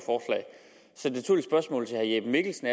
så når herre jeppe mikkelsen